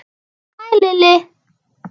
Hæ, Lilli!